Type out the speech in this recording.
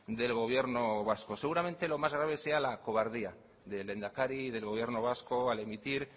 del gobierno vasco seguramente lo más grave sea la cobardía del lehendakari y del gobierno vasco al emitir